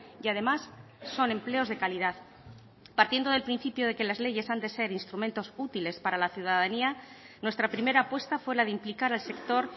y además son empleos de calidad partiendo del principio de que las leyes han de ser instrumentos útiles para la ciudadanía nuestra primera apuesta fue la de implicar al sector